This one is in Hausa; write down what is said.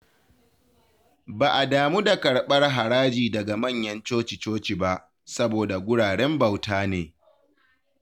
Ba a damu da karɓar haraji daga manyan coci-coci ba, saboda guraren bauta ne.